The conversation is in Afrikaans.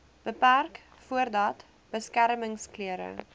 beperk voordat beskermingsklere